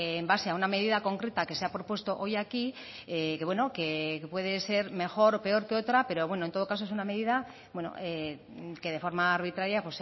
en base a una medida concreta que se ha propuesto hoy aquí que bueno que puede ser mejor o peor que otra pero en todo caso es una medida que de forma arbitraria